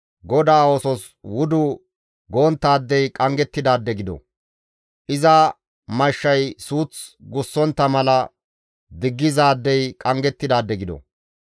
«GODAA oosos wudu gonttaadey qanggettidaade gido! iza mashshay suuth gussontta mala diggizaadey qanggettidaade gido.